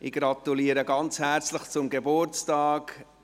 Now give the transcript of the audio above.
Ich gratuliere Natalie Imboden ganz herzlich zum Geburtstag.